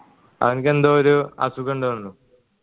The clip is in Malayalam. അവൻകെന്തോ ഒരു അസുഖം ഇണ്ട് തോനുണു